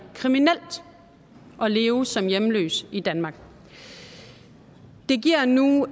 kriminelt at leve som hjemløs i danmark det giver nu